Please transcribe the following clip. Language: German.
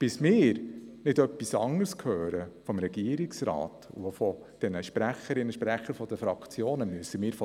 Davon müssen wir ausgehen, bis wir vom Regierungsrat und auch von den Sprecherinnen und Sprechern der Fraktionen nicht etwas anderes hören.